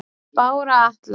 Bára Atla